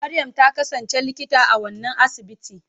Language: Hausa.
Maryam ta kasance Likita a wannan asibiti.